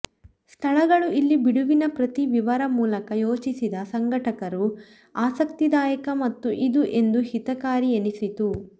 ಸ್ಥಳಗಳು ಇಲ್ಲಿ ಬಿಡುವಿನ ಪ್ರತಿ ವಿವರ ಮೂಲಕ ಯೋಚಿಸಿದ ಸಂಘಟಕರು ಆಸಕ್ತಿದಾಯಕ ಮತ್ತು ಇದು ಎಂದು ಹಿತಕಾರಿಯೆನಿಸಿತು